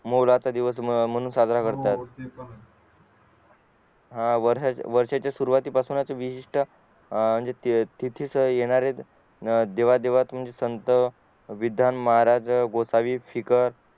मोलाचा दिवस म्हणून साजरा करतात हा वर्षाच्या सुरवाती पासून विशिष्ट्य तिथीस येणारे देवा देवास संत विदान महाराज गोसावी फिकर